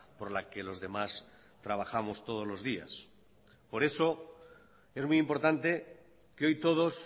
por la que los demás trabajamos todos los días por eso es muy importante que hoy todos